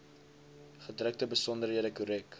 gedrukte besonderhede korrek